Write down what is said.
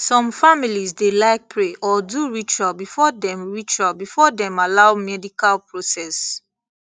some families dey like pray or do ritual before dem ritual before dem allow medical process